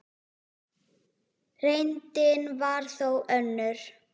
Reyndin var þó önnur.